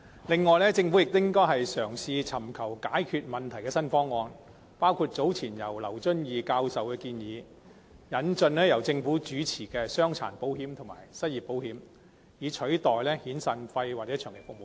此外，政府亦應該嘗試尋求解決問題的新方案，其中包括劉遵義教授早前提出的建議，即引進由政府提供的傷殘保險和失業保險，以取代遣散費和長期服務金。